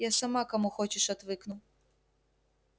я сама кому хочешь отвыкну